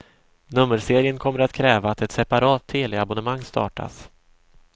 Nummerserien kommer att kräva att ett separat teleabonnemang startas.